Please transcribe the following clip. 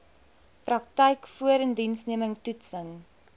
praktyk voorindiensneming toetsing